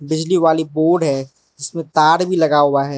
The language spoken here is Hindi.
बिजली वाली बोर्ड है जिसमें तार भी लगा हुआ है।